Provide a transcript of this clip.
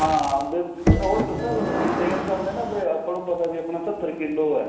ਹਾਂ ਉਹ ਦੱਸਿਆ ਤੁਹਾਨੂੰ maintain ਕਰਦੇ ਏ ਨਾ ਆਪਾਂ ਨੂੰ ਪਤਾ ਵੀ ਆਪਣਾ ਸਤਰ ਕਿਲੋ ਏ